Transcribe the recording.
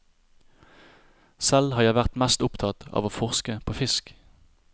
Selv har jeg vært mest opptatt av å forske på fisk.